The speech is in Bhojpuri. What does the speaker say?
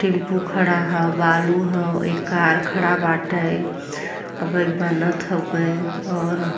टेंपू खड़ा ह बालू ह एक कार खड़ा बाटे। अबे बनत हउवे और --